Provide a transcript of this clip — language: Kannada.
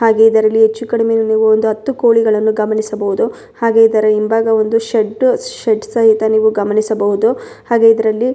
ಹಾಗೆ ಇದರಲ್ಲಿ ಹೆಚ್ಚು ಕಡಿಮೆ ನೀವು ಒಂದು ಹತ್ತು ಕೋಳಿಗಳನ್ನು ಗಮನಿಸಬಹುದು ಹಾಗೆ ಇದರ ಹಿಂಭಾಗ ಬಂದು ಷಡ್ವ ಷಡ್ ಸಹಿತ ನೀವು ಗಮನಿಸಬಹುದು ಹಾಗೆ ಇದರಲ್ಲಿ --